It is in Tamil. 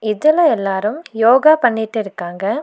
இதுல எல்லாரும் யோகா பண்ணிட்டு இருக்காங்க.